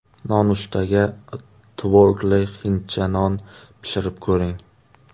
Nonushtaga tvorogli hindcha non pishirib ko‘ring.